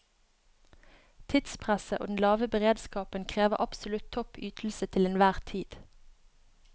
Tidspresset og den lave beredskapen krever absolutt topp ytelse til enhver tid.